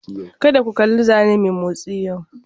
Kada ku kalli zanne mai motsi yau!